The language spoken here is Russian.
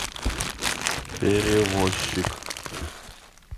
перевозчик